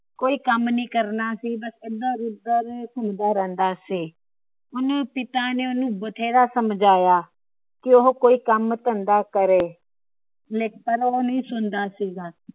ਕੋਈ ਕੰਮ ਨਹੀਂ ਕਰਨਾ ਸੀ। ਏਧਰ ਉਧਰ ਘੁੰਮਦਾ ਰਹਿੰਦਾ ਸੀ । ਉਹਂਦੇ ਪਿਤਾ ਨੇ ਓਹਨੂੰ ਬਥੇਰਾ ਸਮਝਾਇਆ ਕੀ ਉਹ ਕੋਈ ਕੰਮ ਧੰਦਾ ਕਰੇ। ਪਰ ਉਹ ਨਹੀਂ ਸੁਣਦਾ ਸੀ ਗਏ।